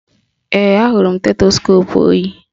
Ee, ahụrụ m stetoskoopu o yi